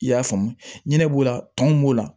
I y'a faamu ɲinɛ b'o la tɔn b'o la